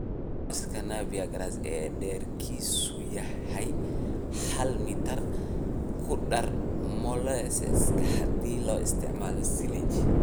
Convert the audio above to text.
Goynta cawska Napier ee dhererkiisu yahay hal mitar; ku dar molasses haddii loo isticmaalo silage